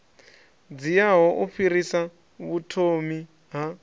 dziaho u fhirsisa vhuthomi ha